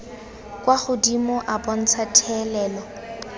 kwa godimo a bontsha thelelo